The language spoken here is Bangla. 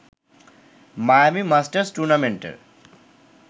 মায়ামি মাস্টার্স টুর্নামেন্টের